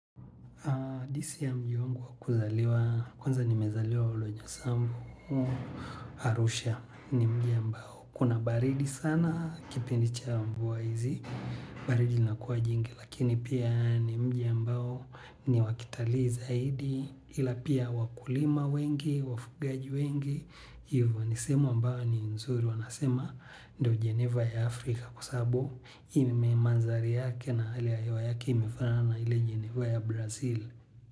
Disi ya mji wangu wa kuzaliwa, kwanza nimezaliwa Oldonyo Sambu, Arusha. Ni mji ambao. Kuna baridi sana kipindi cha mvua hizi, baridi linakuwa jingi lakini pia ni mji ambao ni wa kitalii zaidi ila pia wakulima wengi, wafugaji wengi. Hivyo ni sehemu ambayo ni nzuri wanasema ndo jeneva ya Afrika kwa sababu ime manzari yake na hali hewa yake imefanana na ile yenye huwa ya Brazil.